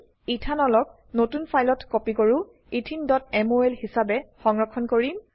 Ethanolক ethanol নতুন ফাইলত copy কৰো etheneমল হিসাবে সংৰক্ষণ কৰিম